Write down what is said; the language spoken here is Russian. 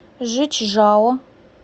жичжао